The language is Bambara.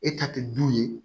E ta te du ye